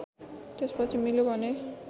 त्यसपछि मिल्यो भने